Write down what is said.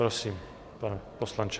Prosím, pane poslanče.